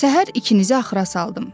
Səhər ikinizi axıra saldım.